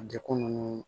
Dekun nunnu